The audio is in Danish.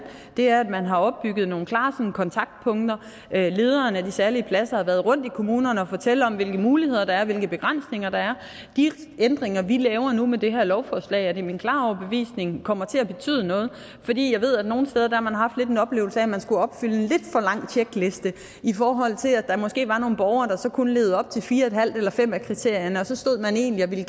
er at man har opbygget nogle klare kontaktpunkter lederen af de særlige pladser har været rundt i kommunerne og fortalt om hvilke muligheder der er og hvilke begrænsninger der er de ændringer vi laver nu med det her lovforslag er det min klare overbevisning kommer til at betyde noget fordi jeg ved at nogle steder har man haft lidt en oplevelse af at man skulle opfylde en lidt for lang tjekliste i forhold til at der måske var nogle borgere der så kun levede op til fire et halvt eller fem af kriterierne og så stod man egentlig og gerne